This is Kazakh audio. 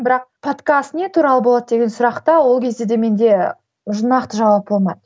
бірақ подкаст не туралы болады деген сұраққа ол кезде де менде уже нақты жауап болмады